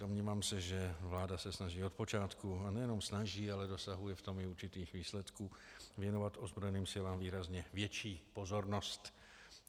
Domnívám se, že vláda se snaží od počátku - ale nejenom snaží, ale dosahuje v tom i určitých výsledků - věnovat ozbrojeným silám výrazně větší pozornost.